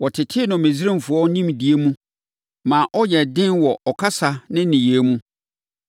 Wɔtetee no Misraimfoɔ nimdeɛ mu maa ɔyɛɛ den wɔ ɔkasa ne nneyɛeɛ mu.